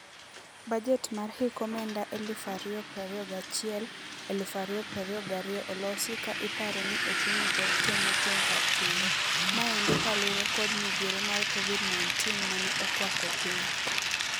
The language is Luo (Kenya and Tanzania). Bajet mar hik omenda eluf ario prario gachiel, eluf ario prario gario olosi ka iparo ni ochumi pod temo chung' kar tiende. Maendi kalure kod midhiero mar Covid-19 mane okwako piny.